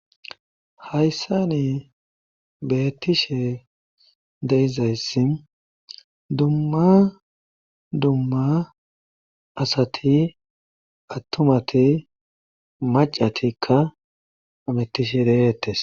Hayssani beettishe de7izayssi dumma dumma asati attumati maccatikka hamettishe de7eetes.